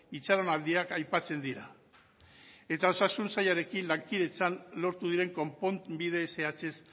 itxaronaldiak aipatzen dira eta osasun sailarekin lankidetzan lortu diren konponbide zehatzez